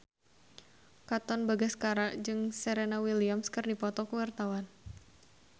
Katon Bagaskara jeung Serena Williams keur dipoto ku wartawan